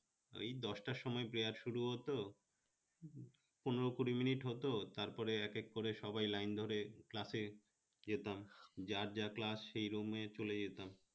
ওই দশটার সময় prayer শুরু হতো পনেরো-কুড়ি minute হত তারপরে এক এক করে সবাই line ধরে class এ যেতাম যার যা class সেই room এ চলে যেতাম